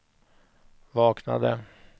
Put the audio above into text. vaknade